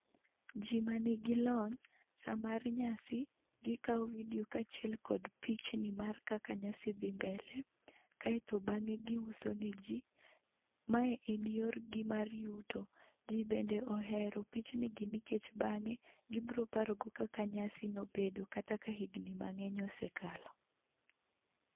Ji manigi lony, saa mar nyasi, gikawo vidio kaachiel kod pichni mar kaka nyasi dhi mbele. Kaeto bang'e giuso neji. Mae en yorgi mar yuto. Ji bende ohero pichnigi nikech bang'e gibiro parogo kaka nyasi nobedo kata ka higni mang'eny osee kalo.